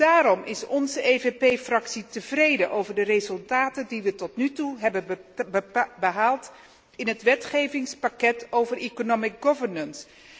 Daarom is onze PPE Fractie tevreden over de resultaten die we tot nu toe hebben behaald in het wetgevingspakket over economische governance.